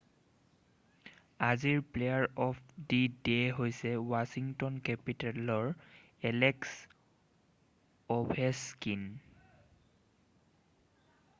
আজিৰ player of the day হৈছে Washington কেপিটেলৰ এলেক্স অ'ভেছকিন৷